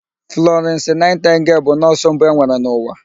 Flọrịnsị Naịtịngel bụ nọọsụ mbụ enwere n'ụwa.